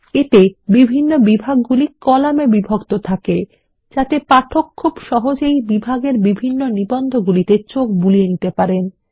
এতে বিভাগগুলি কলামে বিভক্ত থাকে যাতে পাঠক খুব সহজেই বিভিন্ন বিভাগের নিবন্ধগুলিতে চোখ বুলিয়ে নিতে পারেন